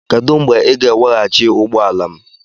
Kedu mgbe ị ga-eweghachi ụgbọ ala m?